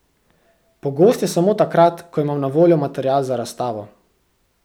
Pogost je samo takrat, ko imam na voljo material za razstavo.